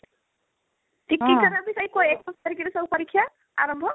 ଟିକି ଙ୍କର ସେଇ ଏକୋଇଶି ତାରିଖ ରେ ସବୁ ପରୀକ୍ଷା ଆରମ୍ଭ